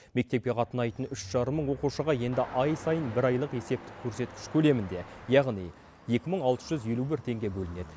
мектепке қатынайтын үш жарым мың оқушыға енді ай сайын бір айлық есептік көрсеткіш көлемінде яғни екі мың алты жүз елу бір теңге бөлінеді